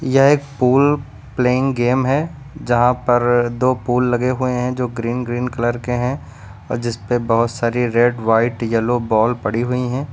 यह एक pool playing game है जहां पर दो पूल लगे हुए हैं जो ग्रीन ग्रीन कलर के हैं। अ जिसपे बोहोत सारी रेड व्हाइट येलो बॉल पड़ी हुई हैं।